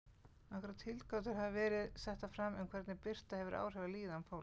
Nokkrar tilgátur hafa verið settar fram um hvernig birta hefur áhrif á líðan fólks.